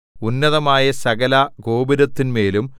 ഉന്നതമായ സകലഗോപുരത്തിന്മേലും